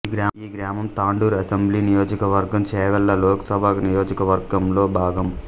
ఈ గ్రామం తాండూర్ అసెంబ్లీ నియోజకవర్గం చేవెళ్ళ లోకసభ నియోజకవర్గంలో భాగం